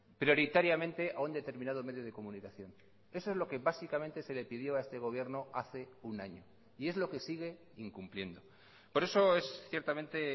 prioritariamente a un determinado medio de comunicación eso es lo que básicamente se le pidió a este gobierno hace un año y es lo que sigue incumpliendo por eso es ciertamente